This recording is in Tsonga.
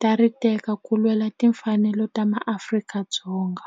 ta ri teka ku lwela timfanelo ta ma Afrika-Dzonga.